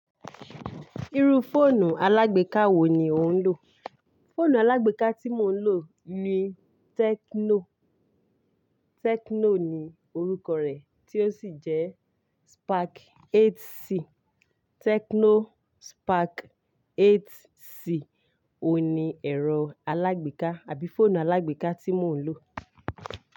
Irú fóònù alágbèká wo ni ò ń lò? Fóònù alágbèká tí mò ń lò ni Tecno. Tecno ni orúkọ rẹ̀ tí ó sì jẹ́ Spark 8c. Tecno Spark 8c òun ni ẹ̀rọ alágbèká àbí fóònù alágbèká tí mò ń lò.